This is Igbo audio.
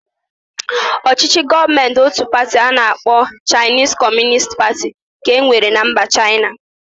Ọchịchị Gọọmentị ótù pati nke a na-akpọ Chaịnis Kọmunist Pati ka e nwere na mba Chaịna.